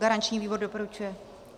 Garanční výbor doporučuje.